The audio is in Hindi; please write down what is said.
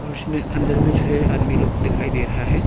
उसमें अंदर में जो है आदमी लोग दिखाई दे रहा है।